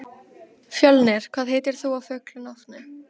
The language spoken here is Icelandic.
Fjölnir, hvað heitir þú fullu nafni?